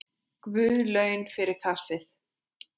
Guð laun fyrir kaffið.